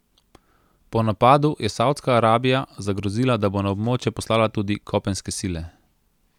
Po napadu je Savdska Arabija zagrozila, da bo na območje poslala tudi kopenske sile.